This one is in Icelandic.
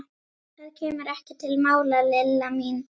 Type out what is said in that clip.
Það kemur ekki til mála, Lilla mín.